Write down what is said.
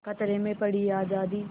खतरे में पड़ी आज़ादी